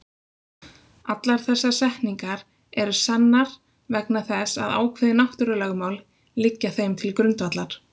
Allar þessar setningar eru sannar vegna þess að ákveðin náttúrulögmál liggja þeim til grundvallar.